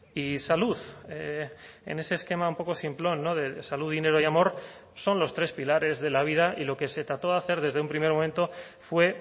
y salud en ese esquema un poco simplón no de salud dinero y amor son los tres pilares de la vida y lo que se trató de hacer desde un primer momento fue